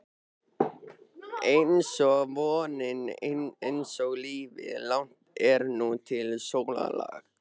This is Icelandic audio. einsog vonin, einsog lífið- langt er nú til sólarlags.